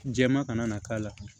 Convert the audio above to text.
Jɛman kana na k'a la